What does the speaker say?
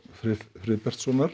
Friðbertssonar